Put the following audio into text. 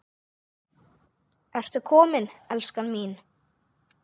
Ertu kominn, elskan mín?